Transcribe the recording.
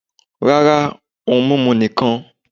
rara ohún mimú nkán.